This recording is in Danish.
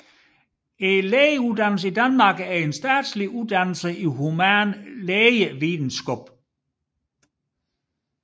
Lægeuddannelsen i Danmark er en statslig uddannelse i human lægevidenskab